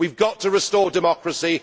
We have got to restore democracy.